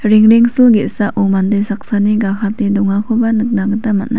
rengrengsil ge·sako mande saksani gakate dongakoba nikna gita man·a.